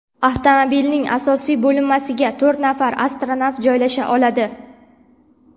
Avtomobilning asosiy bo‘linmasiga to‘rt nafar astronavt joylasha oladi.